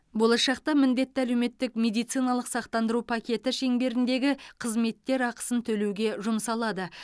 болашақта міндетті әлеуметтік медициналық сақтандыру пакеті шеңберіндегі қызметтер ақысын төлеуге жұмсалады